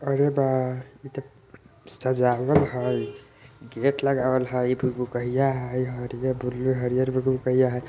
अरे बा एतो सजावल हाई गेट लगावल हाई इ दुगो गइया हाई हरिये बुलु हरियर बुलु गइया हई ।